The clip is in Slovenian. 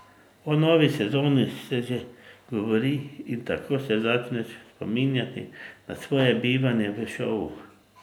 O novi sezoni se že govori in tako se začneš spominjati na svoje bivanje v šovu.